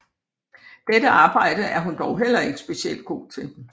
Dette arbejde er hun dog heller ikke specielt god til